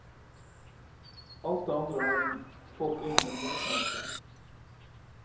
Alt det andre har hun fått inn med morsmelken.